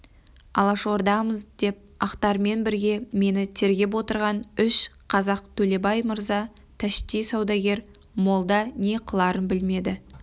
алашордамыз деп ақтармен бірге мені тергеп отырған үш қазақтөлебай мырза тәшти саудагер молда не қыларын білмеді